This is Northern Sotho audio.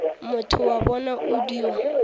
motho wa bona o dio